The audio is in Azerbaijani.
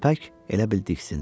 Köpək elə bil diksindi.